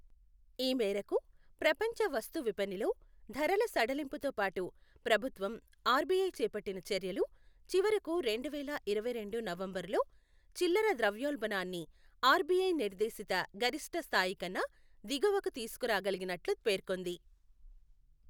ఈ మేరకు ప్రపంచ వస్తు విపణిలో ధరల సడలింపుతోపాటు ప్రభుత్వం, ఆర్బిఐ చేపట్టిన చర్యలు చివరకు రెండువేల ఇరవైరెండు నవంబరులో చిల్లర ద్రవ్యోల్బణాన్ని ఆర్బిఐ నిర్దేశిత గరిష్ఠస్థాయికన్నా దిగువకు తీసుకురాగలిగినట్లు పేర్కొంది.